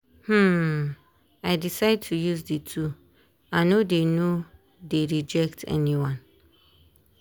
um i decide to use the two i no dey no dey reject anyone.